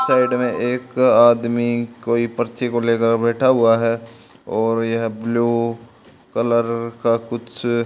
side में एक आदमी कई पर्ची को लेकर बैठा हुआ है और यह ब्लू कलर का कुछ--